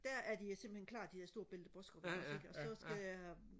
der er de simpelthen klar de der store Belle de Borskoop ikke også ikke og så skal jeg